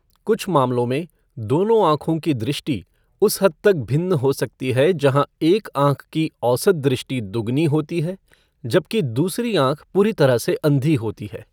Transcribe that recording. कुछ मामलों में, दोनों आँखों की दृष्टि उस हद तक भिन्न हो सकती है जहाँ एक आँख की औसत दृष्टि दोगुनी होती है जबकि दूसरी आँख पूरी तरह से अंधी होती है।